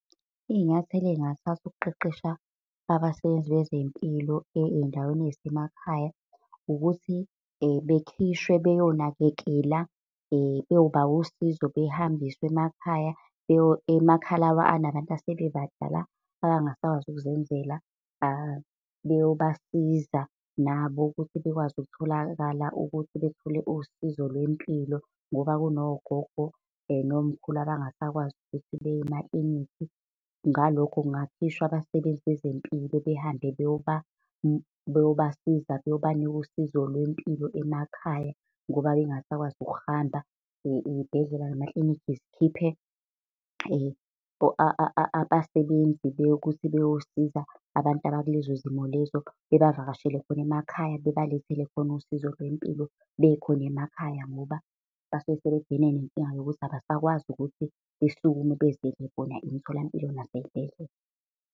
Iy'nyathelo ey'ngathathwa ukuqeqesha abasebenzi bezempilo ey'ndaweni ey'semakhaya, ukuthi bekhishwe beyonakekela, beyoba usizo, behambiswe emakhaya emakhaya la asebebadala, abangasakwazi ukuzenzela beyobasiza nabo ukuthi bekwazi ukutholakala ukuthi bethole usizo lwempilo. Ngoba kunogogo nomkhulu abangasakwazi ukuthi beye emakilinikhi, ngalokho kungakhishwa abasebenzi bezempilo behambe beyobasiza, beyobanika usizo lwempilo emakhaya, ngoba bengasakwazi ukuhamba. Iy'bhedlela, namakliniki zikhiphe abasebenzi beyokuthi beyosiza abantu abakulezo zimo lezo. Bebavakashele khona emakhaya, bebalethele khona usizo lwempilo, bekhona emakhaya ngoba basuke sebebhekene nenkinga yokuthi abasakwazi ukuthi besukume beziyele bona emitholampilo nasey'bhedlela.